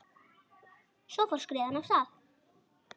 Svo fór skriðan af stað.